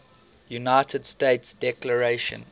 united states declaration